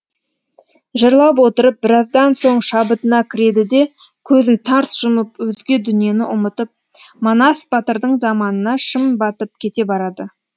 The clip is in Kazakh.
жырлап отырып біраздан соң шабытына кіреді де көзін тарс жұмып өзге дүниені ұмытып манас батырдың заманына шым батып кете барады